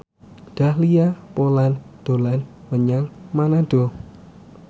Dahlia Poland dolan menyang Manado